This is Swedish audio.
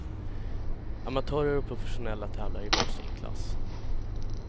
Amatörer och professionella tävlar i var sin klass.